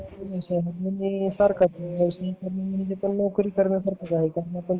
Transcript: सरकारी नोकरी करण्या सारखच आहे